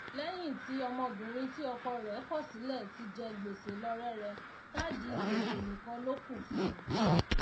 léyìn tí ọmọbìrin tí ọkọ rè kò sílè ti jẹ gbèsè lọ rẹrẹ káàdì gbèsè nìkan lókù fún u